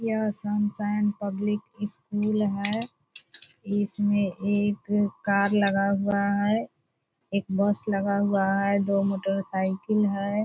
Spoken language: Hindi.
यहाँ सनशाइन पब्लिक स्कूल है इसमे एक कार लगा हुआ है | एक बस लगा हुआ है दो मोटरसाइकिल है |